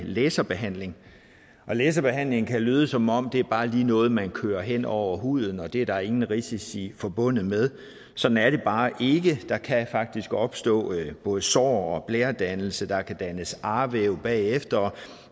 laserbehandling og laserbehandling kan lyde som om det bare lige er noget man kører hen over huden og at det er der ingen risici forbundet med sådan er det bare ikke der kan faktisk opstå både sår og og blæredannelse der kan dannes arvæv bagefter